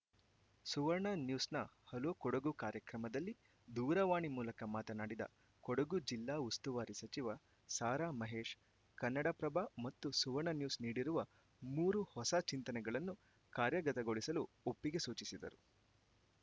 ಸುವರ್ಣ ನ್ಯೂಸ್‌ನ ಹಲೋ ಕೊಡಗು ಕಾರ್ಯಕ್ರಮದಲ್ಲಿ ದೂರವಾಣಿ ಮೂಲಕ ಮಾತನಾಡಿದ ಕೊಡಗು ಜಿಲ್ಲಾ ಉಸ್ತುವಾರಿ ಸಚಿವ ಸಾರಾ ಮಹೇಶ್‌ ಕನ್ನಡಪ್ರಭ ಮತ್ತು ಸುವರ್ಣ ನ್ಯೂಸ್‌ ನೀಡಿರುವ ಮೂರು ಹೊಸ ಚಿಂತನೆಗಳನ್ನು ಕಾರ್ಯಗತಗೊಳಿಸಲು ಒಪ್ಪಿಗೆ ಸೂಚಿಸಿದರು